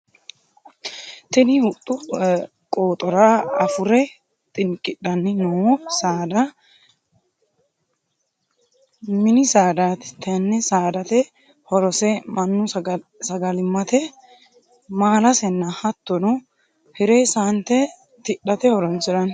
Tinni huxu qooxora afure xinqidhanni noo saada minni saadaati tenne saadate horose mannu sagalimate maalasenna hattono hire saante tidhate horoonsirano.